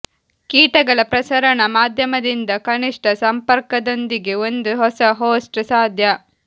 ಕೀಟಗಳ ಪ್ರಸರಣ ಮಾಧ್ಯಮದಿಂದ ಕನಿಷ್ಠ ಸಂಪರ್ಕದೊಂದಿಗೆ ಒಂದು ಹೊಸ ಹೋಸ್ಟ್ ಸಾಧ್ಯ